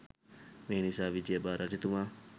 මේ නිසා විජයබා රජතුමා